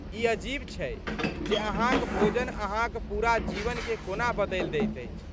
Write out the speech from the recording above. ई अजीब छै जे अहाँक भोजन अहाँक पूरा जीवनकेँ कोना बदलि दैत अछि।